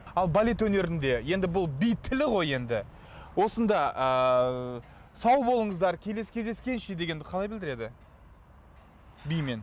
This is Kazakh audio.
ал балет өнерінде енді бұл би тілі ғой енді осында ааа сау болыңыздар келесі кездескенше дегенді қалай білдіреді бимен